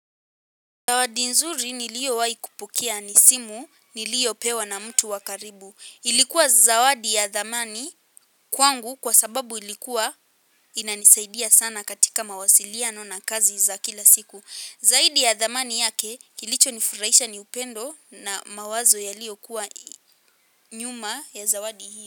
Zawadi nzuri niliowahi kupokea ni simu niliopewa na mtu wa karibu. Ilikuwa zawadi ya thamani kwangu kwa sababu ilikuwa inanisaidia sana katika mawasiliano na kazi za kila siku. Zaidi ya thamani yake kilichonifurahisha ni upendo na mawazo yaliyokuwa nyuma ya zawadi hii.